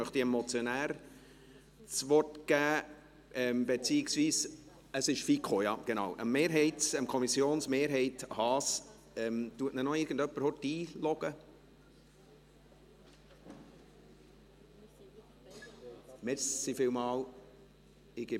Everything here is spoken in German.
Dann möchte ich dem Motionär beziehungsweise dem Kommissionsmehrheitssprecher der FiKo, Adrian Haas, das Wort geben.